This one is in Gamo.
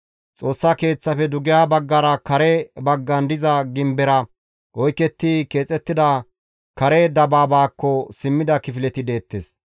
Xoossa Keeththafe dugeha baggara kare baggan diza gimbera oyketti keexettida kare dabaabaakko simmida kifileti deettes.